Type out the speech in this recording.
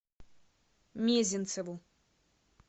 мезенцеву